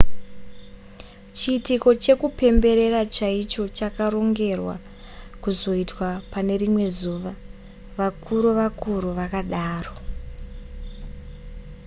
chiitiko chekupemberera chaicho chakarongerwa kuzoitwa pane rimwe zuva vakuru-vakuru vakadaro